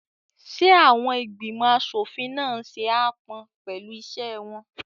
Ṣé àwọn ìgbìmọ̀ aṣòfin náà n ṣe aápọn pẹ̀lú iṣẹ́ wọn?